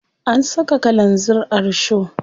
An saka kalanzir a risho.